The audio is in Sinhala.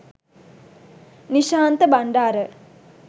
nishantha bandara